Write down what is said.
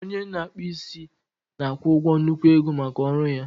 Onye na-akpụ isi na-akwụ ụgwọ nnukwu ego maka ọrụ ya